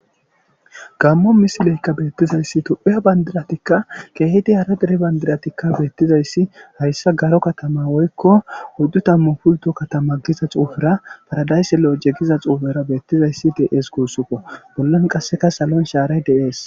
Gammo misileykka beettizayssi tuphiya bandiratikka keehidi haradiri bandiratikka beettizayssi hayssa garo katama woykko huddu tammu pulto katama giza xuufera paradaysse lo7oje giza xuufera beettizayssi de7ees guussufo bollan qasseka salon shaaray deees